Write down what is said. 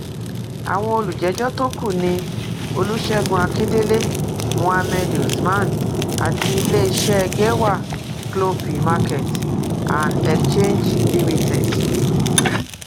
àwọn olùjẹjọ tó kù ni olùṣègùn akíndélé mohammed usman àti iléeṣẹ gẹwà cloppy market and exchange limited